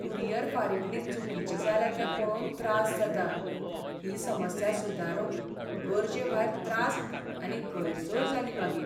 Courier फारीकणी चुकीची जाल्या तें पळोवन त्रास जाता. ही समस्या सुदारूंक गरजे भायर त्रास आनी गैरसोय जाली मागीर.